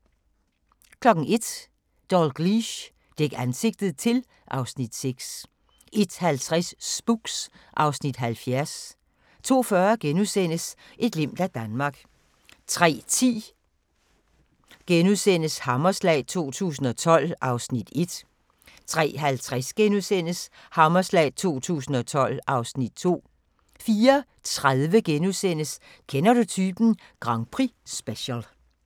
01:00: Dalgliesh: Dæk ansigtet til (Afs. 6) 01:50: Spooks (Afs. 70) 02:40: Et glimt af Danmark * 03:10: Hammerslag 2012 (Afs. 1)* 03:50: Hammerslag 2012 (Afs. 2)* 04:30: Kender du typen? Grand Prix-special *